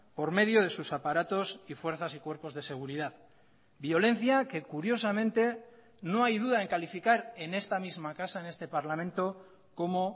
por medio de sus aparatos y fuerzas y cuerpos de seguridad violencia que curiosamente no hay duda en calificar en esta misma casa en este parlamento como